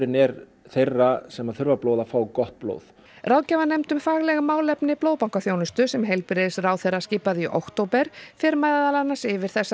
er þeirra sem þurfa blóð að fá gott blóð ráðgjafanefnd um fagleg málefni blóðbankaþjónustu sem heilbrigðisráðherra skipaði í október fer meðal annars yfir þessar